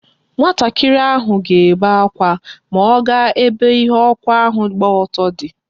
Nwatakiri ahụ ga ebe akwa ma ọ ga ebe ihe ọkụ ahụ gba ọtọ di